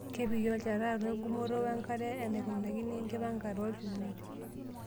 Kepiki olchata atua engumoto wenkare enaa enaikunakaki tenkipangare oolchumati.